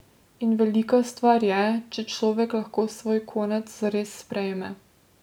In velika stvar je, če človek lahko svoj konec zares sprejme.